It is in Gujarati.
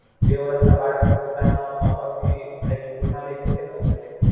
બે વર્ષ ના બાળક ને પોતાના માં બાપ થી Like દૂર ના રાય શકે ને હવે Direct